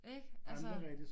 Ikke altså